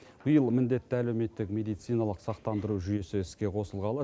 биыл міндетті әлеуметтік медициналық сақтандыру жүйесі іске қосылғалы